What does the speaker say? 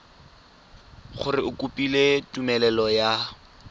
gore o kopile tumelelo ya